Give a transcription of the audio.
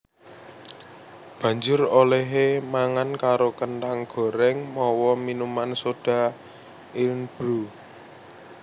Banjur olèhé mangan karo kenthang gorèng mawa minuman soda Irn Bru